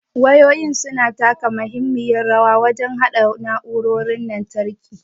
Wayoyin su na taka muhimmiyar rawa wajen haɗa na'urorin lantarki.